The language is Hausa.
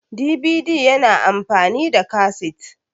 DVD yana amfani da kasit